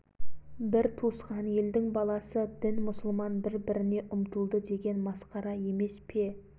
сонан соң қуанай қазірет шығып сөйледі өй құдай-ай бұл не деген сұмдық қарақтарым-ай бұл не қылғандарың